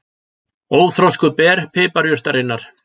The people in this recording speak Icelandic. Óþroskuð ber piparjurtarinnar.